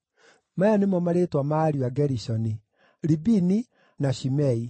Maya nĩmo marĩĩtwa ma ariũ a Gerishoni: Libini na Shimei.